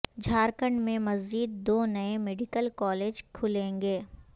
جھارکھنڈ میں مزید دو نئے میڈیکل کالج کھلیں گے